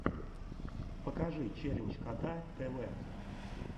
покажи челлендж кота тв